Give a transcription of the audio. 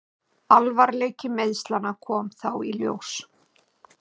Alvarleiki meiðslanna kom þá í ljós.